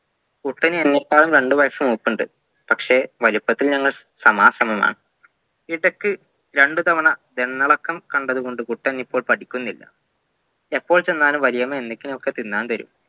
കുട്ടന് എന്നെക്കാളും രണ്ട് വയസ്സ് മൂപ്പുണ്ട് പക്ഷെ വലുപ്പത്തിൽ നമ്മൾ സമാസമമാണ് ഇടക്ക് രണ്ട് തവണ ദണ്ണിളക്കം കണ്ടതുകൊണ്ട് കുട്ടനിപ്പോൾ പഠിക്കുന്നില്ല എപ്പോൾ ചെന്നാലും വലിയമ്മ എന്തെങ്കിലുമൊക്കെ തിന്നാൻ തരും